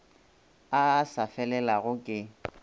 a a sa felelago ke